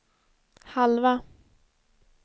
halva